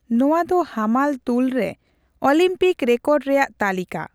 ᱱᱚᱣᱟ ᱫᱚ ᱦᱟᱢᱟᱞ ᱛᱩᱞᱨᱮ ᱚᱞᱤᱢᱯᱤᱠ ᱨᱮᱠᱚᱨᱰ ᱨᱮᱭᱟᱜ ᱛᱟᱹᱞᱤᱠᱟ ᱾